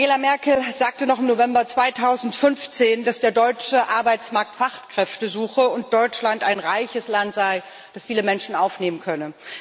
Angela Merkel sagte noch im November 2015, dass der deutsche Arbeitsmarkt Fachkräfte suche und Deutschland ein reiches Land sei, das viele Menschen aufnehmen könne.